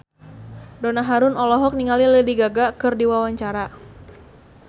Donna Harun olohok ningali Lady Gaga keur diwawancara